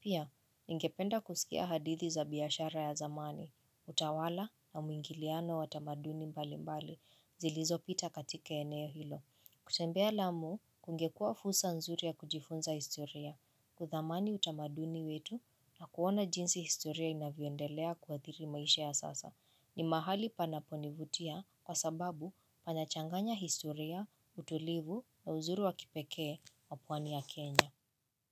Pia, ningependa kusikia hadithi za biashara ya zamani, utawala na mwingiliano wa tamaduni mbalimbali, zilizopita katika eneo hilo. Kutembea lamu, kungekua fursa nzuri ya kujifunza historia, kuthamani utamaduni wetu na kuona jinsi historia inavyoendelea kuathiri maisha ya sasa. Ni mahali panaponivutia kwa sababu panachanganya historia, utulivu na uzuri wakipekee wa pwani ya Kenya.